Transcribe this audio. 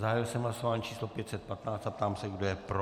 Zahájil jsem hlasování číslo 515 a ptám se, kdo je pro.